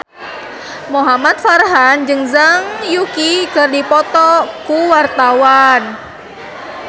Muhamad Farhan jeung Zhang Yuqi keur dipoto ku wartawan